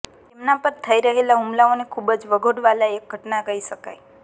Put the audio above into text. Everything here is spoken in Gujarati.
તેમના પર થઈ રહેલા હુમલાઓને ખૂબ જ વખોડવાલાયક ઘટના કહી શકાય